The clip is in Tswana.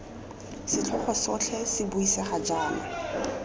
setlhogo sotlhe se buisegang jaana